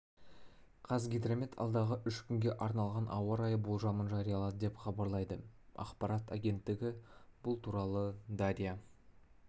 қазгидромет алдағы үш күнге арналған ауа райы болжамын жариялады деп хабарлайды ақпарат агенттігі бұл туралы дарья